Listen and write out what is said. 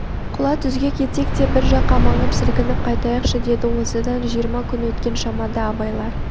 құла түзге кетсек те бір жаққа маңып сілкініп қайтайықшы деді осыдан жиырма күн өткен шамада абайлар